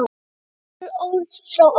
Nokkur orð frá ömmu.